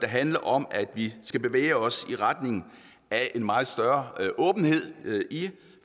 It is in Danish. handler om at vi skal bevæge os i retning af en meget større åbenhed i